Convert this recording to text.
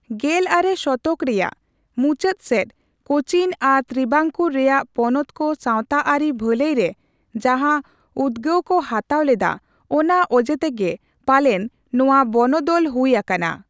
ᱜᱮᱞ ᱟᱨᱮ ᱥᱚᱛᱚᱠ ᱨᱮᱭᱟᱜ ᱢᱩᱪᱟᱹᱫ ᱥᱮᱫ ᱠᱳᱪᱤᱱ ᱟᱨ ᱛᱨᱤᱵᱟᱝᱠᱩᱨ ᱨᱮᱭᱟᱜ ᱯᱚᱱᱚᱛ ᱠᱚ ᱥᱟᱣᱛᱟ ᱟᱹᱨᱤ ᱵᱷᱟᱹᱞᱟᱹᱭ ᱨᱮ ᱡᱟᱦᱟ ᱩᱫᱜᱟᱹᱣ ᱠᱚ ᱦᱟᱛᱟᱣ ᱞᱮᱫᱟ, ᱚᱱᱟ ᱚᱡᱮᱛᱮᱜᱮ ᱯᱟᱞᱮᱱ ᱱᱚᱣᱟ ᱵᱚᱱᱚᱫᱚᱞ ᱦᱩᱭ ᱟᱠᱟᱱ ᱾